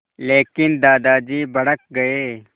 लेकिन दादाजी भड़क गए